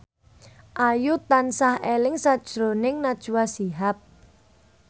Ayu tansah eling sakjroning Najwa Shihab